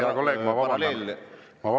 Hea kolleeg, ma vabandan!